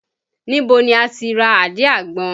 Níbo ni o tí ra àdí àgbọn?